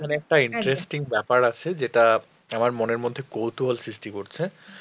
এখানে একটা interesting ব্যাপার আছে যেটা আমার মনের মত কৌতুহল সৃষ্টি করছে